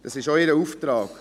Das ist auch ihr Auftrag.